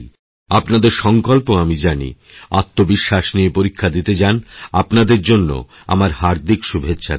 আপনাদের সংকল্প আমি জানি আত্মবিশ্বাস নিয়ে পরীক্ষাদিতে যান আপনাদের জন্য আমার হার্দিক শুভেচ্ছা রইল